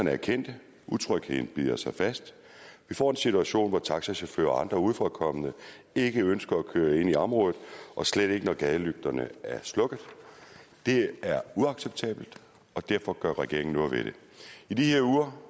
er kendte utrygheden bider sig fast vi får en situation hvor taxachauffører og andre udefra kommende ikke ønsker at køre ind i området og slet ikke når gadelygterne er slukket det er uacceptabelt og derfor gør regeringen noget ved det i de her uger